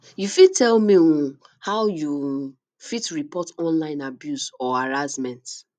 you fit tell me um how you um fit report online abuse or harassment